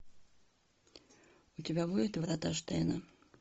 у тебя будет врата штейна